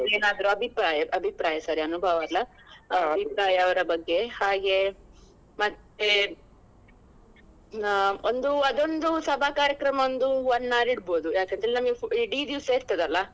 ಏನಾದ್ರು ಅಭಿಪ್ರಾಯ ಅಭಿಪ್ರಾಯ sorry ಅನುಭವ ಅಲ್ಲ ಅವರ ಬಗ್ಗೆ. ಹಾಗೆ ಮತ್ತೆ ಆ ಒಂದು ಅದೊಂದು ಸಭಾ ಕಾರ್ಯಕ್ರಮ ಒಂದು one hour ಇಡ್ಬಹುದು ಯಾಕಂದ್ರೆ ನಮ್ಗೆ ಇಡೀ ದಿವ್ಸ ಇರ್ತದಲ್ಲ.